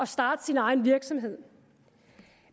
starte sin egen virksomhed